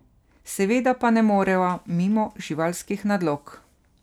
Seveda pa ne moreva mimo živalskih nadlog.